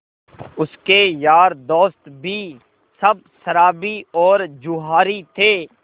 उसके यार दोस्त भी सब शराबी और जुआरी थे